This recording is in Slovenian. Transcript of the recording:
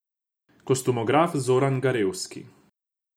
Kostumograf Zoran Garevski.